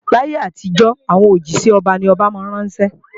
Láyé àtijọ́, àwọn òjísẹ́ ọba ni àwọn ọba máa ń ránṣẹ́